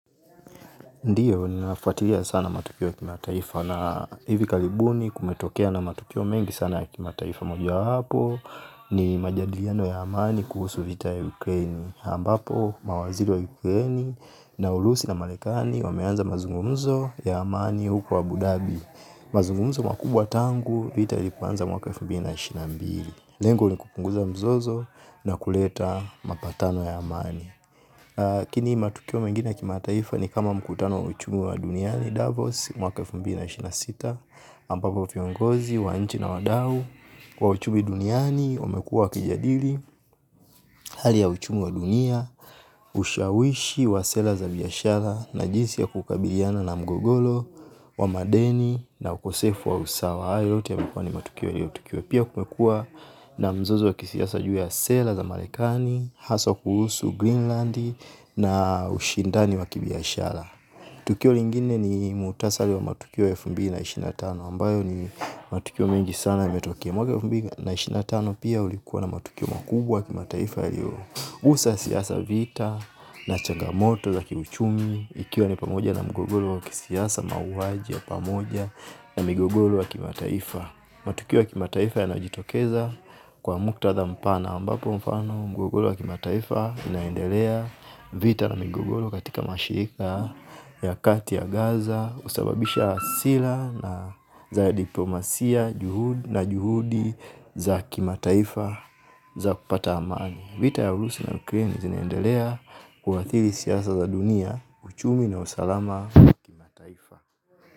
Ndio, ninafuatilia sana matukio ya kimataifa na hivi karibuni kumetokea na matukio mengi sana ya kimataifa moja hapo ni majadiliano ya amani kuhusu vita ya Ukraine. Ambapo, mawaziri wa Ukraine na urusi na marekani wameanza mazungumzo ya amani huko wa Abu Dhabi. Mazungumzo makubwa tangu vita vianze mwaka wa elfu mbili na ishirini na mbili lengo ni kupunguza mzozo na kuleta mapatano ya amank lakini matukio mengine kimataifa ni kama mkutano wa uchumu wa duniani Davos, mwaka elfu mbili na ishirini na sita, ambako viongozi, wanchi na wadau, wa uchumu duniani, wamekua wakijadili, hali ya uchumu wa dunia, ushawishi wa sera za biashara na jinsi ya kukabiliana na mgogoro, wa madeni na ukosefu wa usawa jaya yote yamekua ni matukio ya hio tukio. Pia kumekua na mzozo wa kisiasa juu ya sera za marekani haso kuhusu Greenland na ushindani wa kibiashara tukio lingine ni mukhtasari wa matukio ya elfu mbili na ishirini na tano ambayo ni matukio mengi sana yametokea mwaka elfu mbili na ishirini na tano pia ulikua na matukio makubwa ya kimataifa yaliyo usa siasa vita na changa moto za kiuchumi. Ikiwa ni pamoja na mgogoro wa kisiasa mauaji ya pamoja na mgogoro wa kima taifa matukio ya kimataifa yanajitokeza kwa muktadha mpana ambapo mfano mgogoro wa kimataifa unaendelea vita na migogoro katika mashirika ya kati ya gaza kusababisha hasira na za diplomasia na juhudi za kimataifa za kupata amani. Vita ya urusi na Ukraine zinaendelea kuathiri siasa za dunia. Uchumi na usalama wa kimataifa.